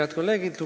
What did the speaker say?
Head kolleegid!